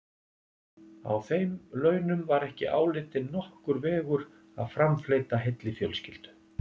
Á þeim launum var ekki álitinn nokkur vegur að framfleyta heilli fjölskyldu.